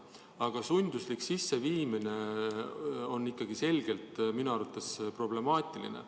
Aga sunduslik kontroll on minu arvates ikkagi selgelt problemaatiline.